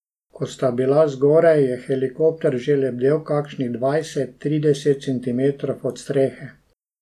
Ko sta bila zgoraj, je helikopter že lebdel kakšnih dvajset, trideset centimetrov od strehe.